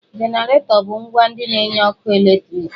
Jeneratọ bu ǹgwá ndị na-enye ọkụ eletriki